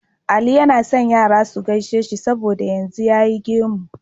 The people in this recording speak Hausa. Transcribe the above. Ali yAna son Yara suke gaishe shi saboda yanzu yayi gemu